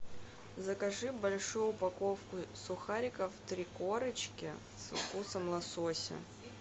закажи большую упаковку сухариков три корочки со вкусом лосося